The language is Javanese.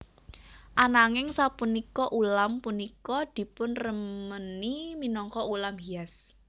Ananging sapunika ulam punika dipunremeni minangka ulam hias